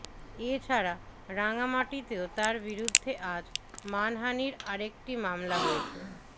এ ছাড়া রাঙামাটিতেও তার বিরুদ্ধে আজ মানহানির আরেকটি মামলা হয়েছে